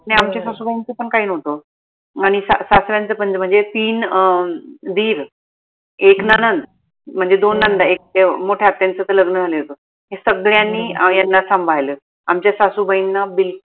नाई आमच्या सासूबाईंच पन काही नव्हतं आनि सासऱ्यांच पन म्हनजे तीन अं दीर एक नणंद म्हनजे दोन नंदा एक ते अह मोठ्या आत्यांचं त लग्न झालेलं होत हे सगळ्यांनी यांना सांभाळलं आमच्या सासूबाईंना बिल